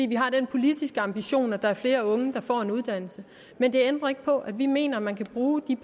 vi har den politiske ambition at der er flere unge der får en uddannelse men det ændrer ikke på at vi mener at man kan bruge